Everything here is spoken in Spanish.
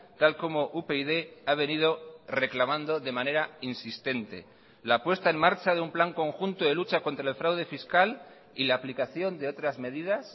tal como upyd ha venido reclamando de manera insistente la puesta en marcha de un plan conjunto de lucha contra el fraude fiscal y la aplicación de otras medidas